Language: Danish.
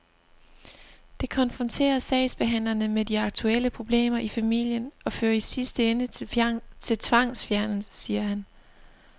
Det konfronterer sagsbehandlerne med de aktuelle problemer i familien og fører i sidste ende til tvangsfjernelse, siger han.